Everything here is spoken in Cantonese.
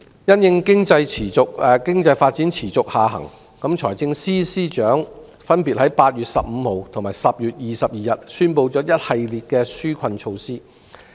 因應經濟發展持續下行，財政司司長分別在8月15日和10月22日宣布了一系列的紓困措施。